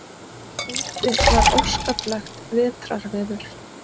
Úti var óskaplegt vetrarveður.